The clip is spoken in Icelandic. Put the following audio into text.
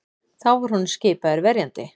Þá var honum skipaður verjandi